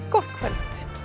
gott kvöld